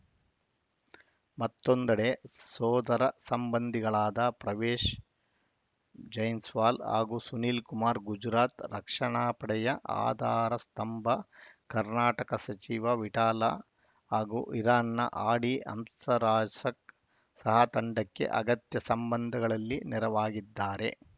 ಮತ್ತೊಂದೆಡೆ ಸೋದರ ಸಂಬಂಧಿಗಳಾದ ಪರ್ವೇಶ್‌ ಜೈನ್ಸ್ ವಾಲ್‌ ಹಾಗೂ ಸುನಿಲ್‌ ಕುಮಾರ್‌ ಗುಜರಾತ್‌ ರಕ್ಷಣಾ ಪಡೆಯ ಆಧಾರ ಸ್ತಂಭ ಕರ್ನಾಟಕದ ಸಚಿವ ವಿಠ್ಠಲಾ ಹಾಗೂ ಇರಾನ್‌ನ ಹಾಡಿ ಹಂಸರಾಜಕ್ ಸಹ ತಂಡಕ್ಕೆ ಅಗತ್ಯ ಸಂದರ್ಭಗಳಲ್ಲಿ ನೆರವಾಗಿದ್ದಾರೆ